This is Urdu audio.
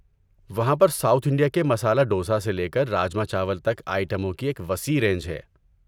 وہاں پر ساؤتھ انڈیا کے مسالا دوسا سے لے کر راجما چاول تک آئٹموں کی ایک وسیع رینج ہے۔